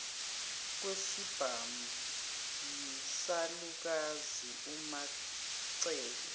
kwesibhamu yisalukazi umacele